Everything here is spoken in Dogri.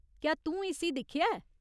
क्या तूं इस्सी दिक्खेआ ऐ ?